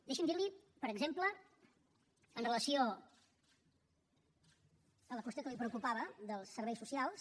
deixi’m dir li per exemple amb relació a la qüestió que li preocupava dels serveis socials